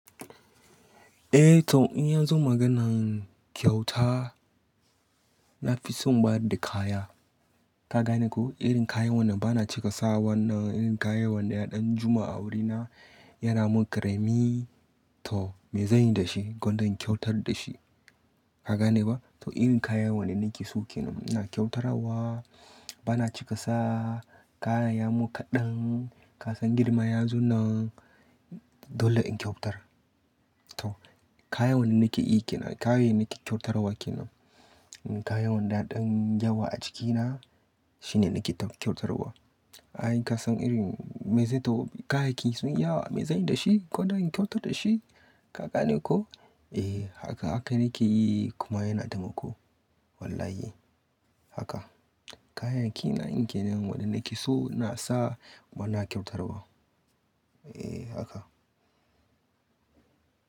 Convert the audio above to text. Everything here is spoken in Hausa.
Eh to in ya zo maganan kyauta, na fi son ba da kaya. Ka gane ko? Irin kayan wannan bana cika sa wannan irin kayan wandaya ɗan juma a wurina yana mun karami. To me zanyi da shi gonda in kyautar da shi? Ka gane ba? To irin kayan wannan nake so ke nan ina kyautarwa bana cika sa kayan ya mun kaɗan. Ka san girma ya zo nan dole in kyautar. To kayan wannan nake iyi ke nan kayan yake nake kyautarawa ke nan. Kayan wanda ya ɗan yawa a jikina shine nake kyautarawa. Ai ka san irin me zai tafi kayan ki sun iya wa me zanyi da shi gonda in kyautar da shi kaka ne ko? Eh haka haka nake yi kuma yana taimako. Wallahi haka kayan kina nake nan wanda nake so ina sawa bana kyautarawa. Eh haka.